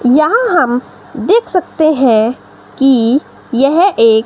यहां हम देख सकते हैं कि यह एक--